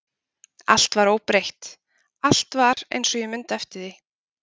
Allt var óbreytt, allt var eins og ég mundi eftir því.